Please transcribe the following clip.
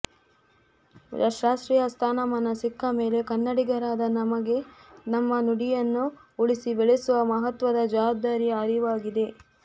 ಶಾಸ್ತ್ರೀಯ ಸ್ಥಾನಮಾನ ಸಿಕ್ಕಮೇಲೆ ಕನ್ನಡಿಗರಾದ ನಮಗೆ ನಮ್ಮ ನುಡಿಯನ್ನು ಉಳಿಸಿ ಬೆಳೆಸುವ ಮಹತ್ವದ ಜವಾಬ್ದಾರಿಯ ಅರಿವಾಗಿದೆ